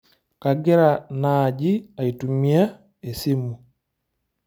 Kagira naaji aitumia esimu.